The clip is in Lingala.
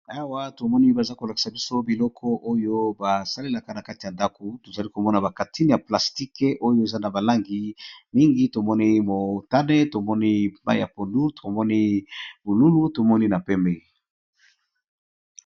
Awa tomoni baza kolakisa biso biloko oyo basalelaka na kati ya ndaku, tozali komona bakatine ya plastique oyo eza na balangi mingi, tomoni motane, tomoni mayi ya pondu tomoni bululu tomoni na pembe.